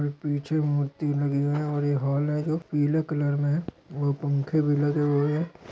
पीछे मूर्ति खड़ी है और एक हॉल है जो पीले कलर मे है और पंखे भी लगे हुए है।